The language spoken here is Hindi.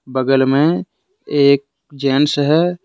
बगल में एक जेंट्स है।